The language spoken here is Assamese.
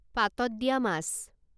পাতত দিয়া মাছ